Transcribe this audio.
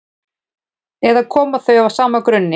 eða koma þau af sama grunni